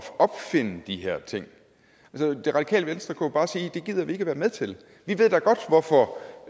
opfinde de her ting det radikale venstre kunne jo bare sige det gider vi ikke være med til vi ved da godt hvorfor